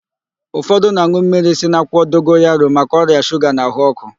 Ụfọdụ na-an̄ụ mmiri si n'akwụkwọ dogoyaro maka ọrịa shuga na ahụ ọ́kụ́.